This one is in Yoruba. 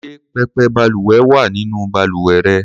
Ṣé pẹpẹ balùwẹ̀ wà nínú balùwẹ̀ rẹ?